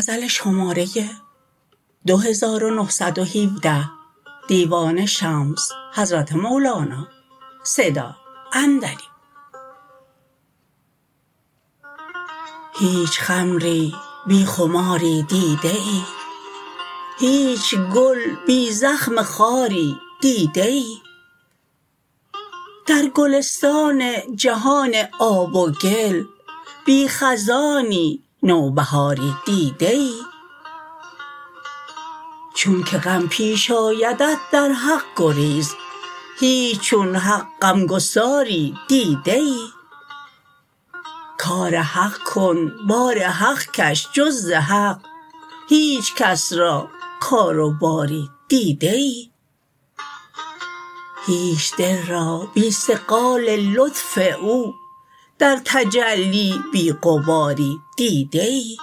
هیچ خمری بی خماری دیده ای هیچ گل بی زخم خاری دیده ای در گلستان جهان آب و گل بی خزانی نوبهاری دیده ای چونک غم پیش آیدت در حق گریز هیچ چون حق غمگساری دیده ای کار حق کن بار حق کش جز ز حق هیچ کس را کار و باری دیده ای هیچ دل را بی صقال لطف او در تجلی بی غباری دیده ای